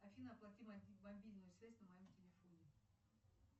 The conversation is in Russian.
афина оплати мобильную связь на моем телефоне